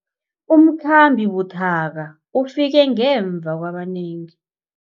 Umkhambi buthaka ufike ngemva kwabanengi.